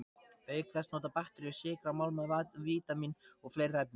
Auk þess nota bakteríur sykra, málma, vítamín og fleiri efni.